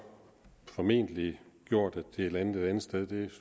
formentlig gjort at det er landet et andet sted det